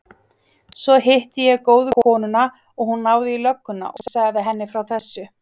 Svo hitti ég góðu konuna og hún náði í lögguna og sagði henni frá þessu.